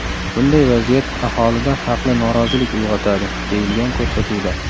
Bunday vaziyat aholida haqli norozilik uyg‘otadi”, deyilgan ko‘rsatuvda.